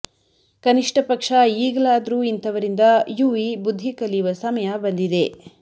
ಕನಿಷ್ಟ ಪಕ್ಷ ಈಗಲಾದ್ರೂ ಇಂತವರಿಂದ ಯುವಿ ಬುದ್ಧಿ ಕಲಿಯುವ ಸಮಯ ಬಂದಿದೆ